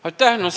Aitäh!